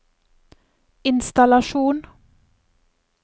innstallasjon